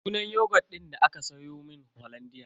Sunan yogut din da aka siyomun hollandia.